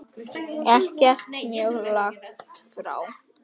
Ekkert mjög langt frá.